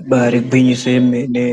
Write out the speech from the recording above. Ibaari gwinyiso yemene,